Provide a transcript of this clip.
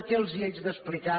què els haig d’explicar